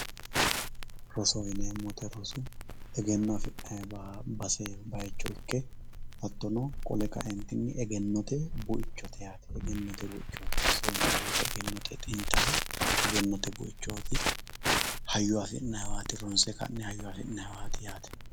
Rosoho yinemowoyite rosu egeno afinayiwa base bayichi ike hattono qole kaentini egenote buichote yaate egenote buichote rosohu yinemowoyite egenote xintaho egenote buichoti hayyo afinayiwat ronse ka`ne hayyo afinayiwat yaate.